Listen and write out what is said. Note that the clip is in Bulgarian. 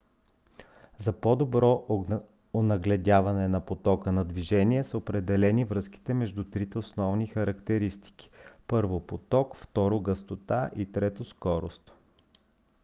за по-добро онагледяване на потока на движение са определени връзките между трите основни характеристики: 1 поток 2 гъстота и 3 скорост